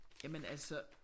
Jamen altså